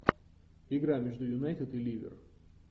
игра между юнайтед и ливер